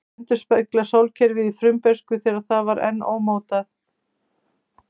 Þær endurspegla sólkerfið í frumbernsku, þegar það var enn ómótað.